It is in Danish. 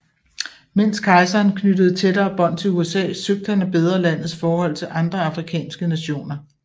Mens kejseren knyttede tættere bånd til USA søgte han at bedre landets forhold til andre afrikanske nationer